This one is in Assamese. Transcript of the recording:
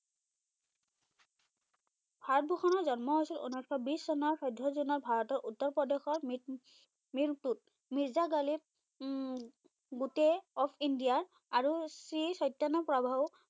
ভাৰতভূষণৰ জন্ম হৈছিল উনৈসশ বিশ চনৰ চৈধ্য জুনত ভাৰতৰ উত্তৰপ্ৰদেশৰ মিৰ মিৰতুত। মিৰ্জা গালিব উম বুটেই অব ইণ্ডিয়া আৰু শ্ৰী চৈতন্যপ্ৰভাও